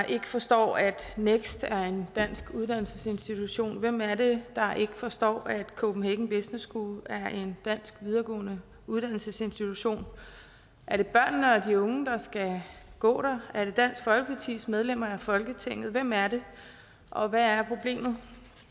ikke forstår at next er en dansk uddannelsesinstitution hvem er det der ikke forstår at copenhagen business school er en dansk videregående uddannelsesinstitution er det børnene og de unge der skal gå der er det dansk folkepartis medlemmer af folketinget hvem er det og hvad er problemet